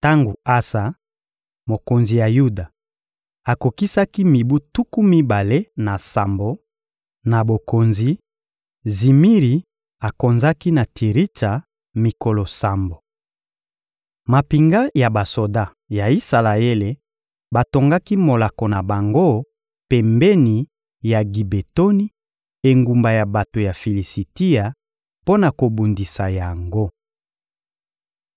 Tango Asa, mokonzi ya Yuda, akokisaki mibu tuku mibale na sambo na bokonzi; Zimiri akonzaki na Tiritsa, mikolo sambo. Mampinga ya basoda ya Isalaele batongaki molako na bango pembeni ya Gibetoni, engumba ya bato ya Filisitia, mpo na kobundisa yango.